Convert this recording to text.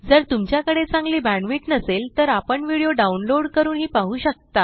जर तुमच्याकडे चांगली बॅण्डविड्थ नसेल तर आपण व्हिडिओ डाउनलोड करूनही पाहू शकता